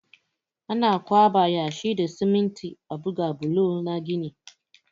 Ana ƙwaɓa yashi da siminti a buga bulo na gini.